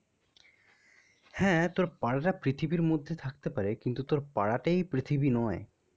হ্যাঁ, তোর পাড়াটা পৃথিবীর মধ্যে থাকতে পারে. কিন্তু, তোর পাড়াতেই পৃথিবী নয়